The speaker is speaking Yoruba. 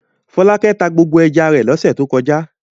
Fọlákẹ́ tá gbogbo ẹja rẹ̀ lọ́sẹ̀ tó kọjá.